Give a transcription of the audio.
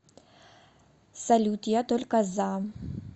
салют я только за